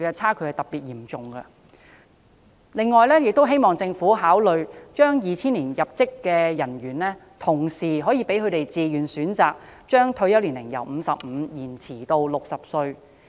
此外，我亦希望政府考慮讓2000年入職的人員可以自願選擇把退休年齡由55歲延遲至60歲。